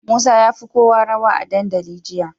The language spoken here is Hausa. Musa yafi kowa rawa a dandali jiya